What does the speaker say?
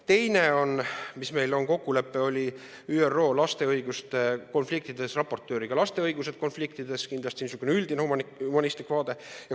Teiseks, meil on kokkulepe ÜRO raportööriga laste õiguste teemal konfliktisituatsioonides, kindlasti niisugune üldine humanistlik vaade.